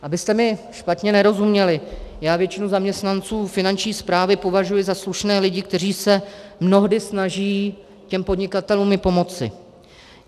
Abyste mi špatně nerozuměli, já většinu zaměstnanců Finanční správy považuji za slušné lidi, kteří se mnohdy snaží těm podnikatelům i pomoci.